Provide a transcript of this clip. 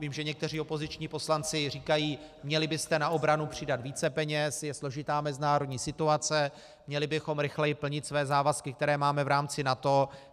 Vím, že někteří opoziční poslanci říkají: Měli byste na obranu přidat více peněz, je složitá mezinárodní situace, měli bychom rychleji plnit své závazky, které máme v rámci NATO.